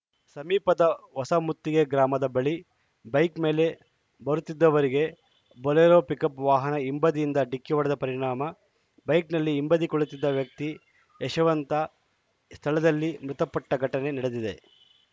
ಸಮೀಪದ ಹೊಸಮುತ್ತಿಗೆ ಗ್ರಾಮದ ಬಳಿ ಬೈಕ್‌ ಮೇಲೆ ಬರುತ್ತಿದ್ದವರಿಗೆ ಬೊಲೆರೋ ಪಿಕಪ್‌ ವಾಹನ ಹಿಂಬದಿಯಿಂದ ಡಿಕ್ಕಿ ಹೊಡೆದ ಪರಿಣಾಮ ಬೈಕಲ್ಲಿ ಹಿಂಬದಿ ಕುಳಿತಿದ್ದ ವ್ಯಕ್ತಿ ಯಶವಂತ ಸ್ಥಳದಲ್ಲಿ ಮೃತ ಪಟ್ಟಘಟನೆ ನಡೆದಿದೆ